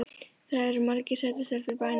Það eru margar sætar stelpur í bænum.